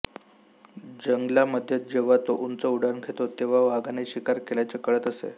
जंगलांमध्ये जेव्हा ते उंच उड्डाण घेते तेव्हा वाघाने शिकार केल्याचे कळत असे